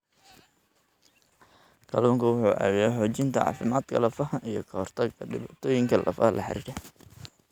Kalluunku wuxuu caawiyaa xoojinta caafimaadka lafaha iyo ka hortagga dhibaatooyinka lafaha la xiriira.